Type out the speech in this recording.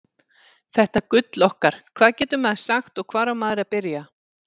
Þetta gull okkar, hvað getur maður sagt og hvar á maður að byrja?